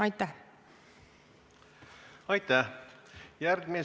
Aitäh!